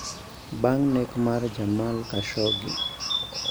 Bang' nek mar Jamal Khashoggi